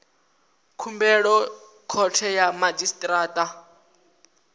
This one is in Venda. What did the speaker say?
khumbelo khothe ya madzhisi ṱira